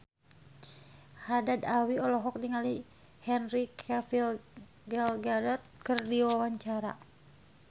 Haddad Alwi olohok ningali Henry Cavill Gal Gadot keur diwawancara